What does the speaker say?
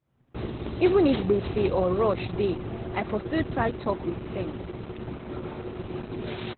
even if gbege or rush dey i fo still try talk with sense.